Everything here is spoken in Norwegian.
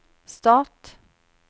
stat